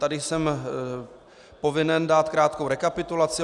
Tady jsem povinen dát krátkou rekapitulaci.